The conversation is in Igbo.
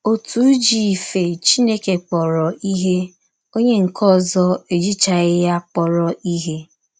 Ọtụ ji ife Chineke kpọrọ ihe, ọnye nke ọzọ ejichaghị ya kpọrọ ihe.